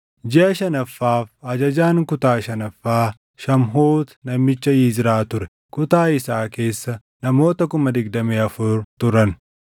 Jiʼa shanaffaaf ajajaan kutaa shanaffaa Shamhuuti namicha Yizraa ture. Kutaa isaa keessa namoota 24,000 turan.